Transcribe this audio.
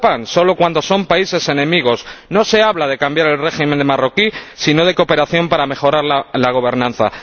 Solo cuando son países enemigos. No se habla de cambiar el régimen marroquí, sino de cooperación para mejorar la gobernanza.